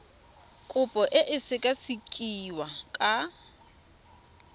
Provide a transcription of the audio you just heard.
kopo e tla sekasekiwa ka